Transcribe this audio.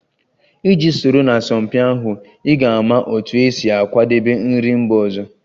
Iji soro na asọmpi ahụ, ị ga-ama otú e si akwadebe nri mba ọzọ